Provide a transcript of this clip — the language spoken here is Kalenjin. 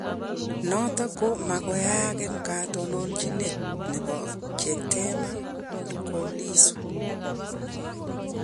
Noto ko magoi yaak eng katononchinet nebo Chadema ko Lissu